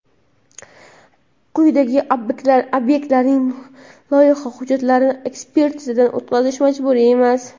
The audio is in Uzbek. quyidagi obyektlarning loyiha hujjatlarini ekspertizadan o‘tkazish majburiy emas:.